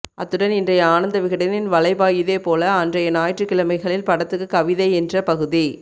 அத்துடன் இன்றைய ஆனந்த விகடனின் வலைபாயுதே போல அன்றைய ஞாயிற்றுக்கிழமைகளில் படத்துக்கு கவிதை என்ற பகுதி